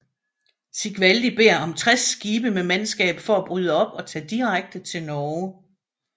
Sigvaldi beder om 60 skibe med mandskab for at bryde op og tage direkte til Norge